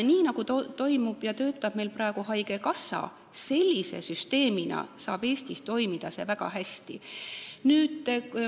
Nii nagu töötab meil praegu haigekassa, saab see sellise süsteemina Eestis toimida väga hästi.